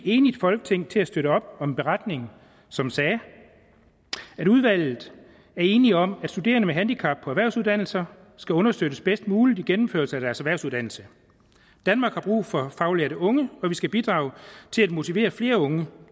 enigt folketing til at støtte op om en beretning som sagde udvalget er enige om at studerende med et handicap på erhvervsuddannelser skal understøttes bedst muligt i gennemførelsen af deres erhvervsuddannelse danmark har brug for faglærte unge og vi skal bidrage til at motivere flere unge